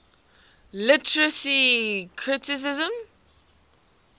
literary criticism